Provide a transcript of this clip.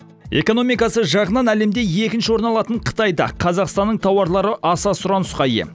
экономикасы жағынан әлемде екінші орын алатын қытайда қазақстанның тауарлары аса сұранысқа ие